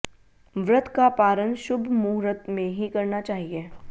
व्रत का पारण शुभ मुहूर्त में ही करना चाहिए